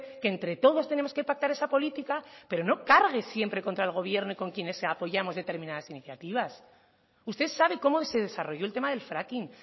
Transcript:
que entre todos tenemos que pactar esa política pero no cargue siempre contra el gobierno y contra quienes apoyamos determinadas iniciativas usted sabe cómo se desarrolló el tema del fracking